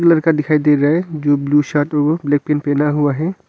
लड़का दिखाई दे रहा है जो ब्लू शर्ट वो ब्लैक पैंट पहना हुआ है।